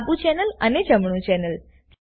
ડાબું ચેનલ અને જમણું ચેનલ